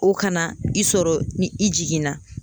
O kana i sɔrɔ ni i jiginna